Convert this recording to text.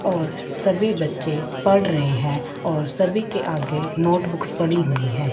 और सभी बच्चे पढ़ रहे हैं और सभी के आगे नोटबुक्स पड़ी हुई है।